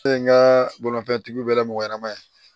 Ne ye n ka bolimafɛntigi bɛla mɔgɔ ɲanama ye